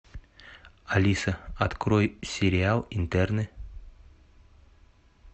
алиса открой сериал интерны